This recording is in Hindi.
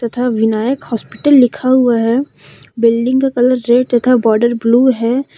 तथा विनायक हॉस्पिटल लिखा हुआ है बिल्डिंग का कलर ग्रे तथा बॉर्डर ब्लू है।